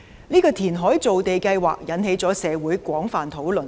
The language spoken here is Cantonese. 這個填海造地計劃引起了社會廣泛討論。